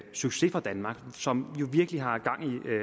succes for danmark som jo virkelig har gang